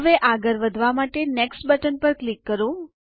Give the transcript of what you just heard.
હવે આગળ વધવા માટે નેક્સ્ટ બટન પર ક્લિક કરો